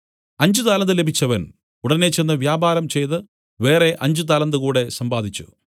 അഞ്ച് താലന്ത് ലഭിച്ചവൻ ഉടനെ ചെന്ന് വ്യാപാരം ചെയ്തു വേറെ അഞ്ച് താലന്ത് കൂടെ സമ്പാദിച്ചു